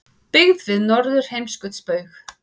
Byggð við Norðurheimskautsbaug.